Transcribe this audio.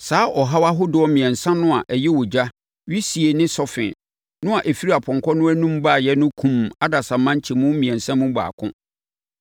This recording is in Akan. Saa ɔhaw ahodoɔ mmiɛnsa no a ɛyɛ ogya, wisie ne sɔfe no a ɛfiri apɔnkɔ no anom baeɛ no kumm adasamma nkyɛmu mmiɛnsa mu baako.